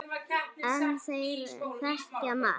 En þeir þekkja margt.